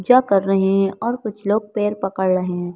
कर रहे हैं और कुछ लोग पैर पकड़ रहे हैं।